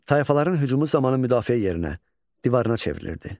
Tayfaların hücumu zamanı müdafiə yerinə divarına çevrilirdi.